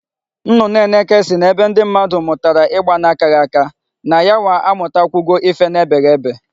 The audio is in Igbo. Nnụnụ eneke sị na ebe ụmụ mmadụ mụtara igba na-akaghị aka, na yanwa amụtakwugo ife na-ebeghị ebe.